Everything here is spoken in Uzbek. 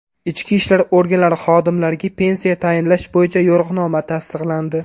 Ichki ishlar organlari xodimlariga pensiya tayinlash bo‘yicha yo‘riqnoma tasdiqlandi.